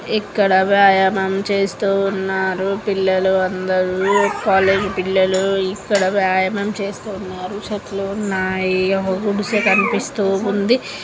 ఇక్కడ వ్యాయామం చేస్తూ ఉన్నారు. పిల్లలు అందరూ కాలేజీ పిల్లలూ ఇక్కడ వ్యాయామమం చేస్తున్నారు చెట్లు ఉన్నాయి. ఒక గుడిసె కనిపిస్తూ ఉంది.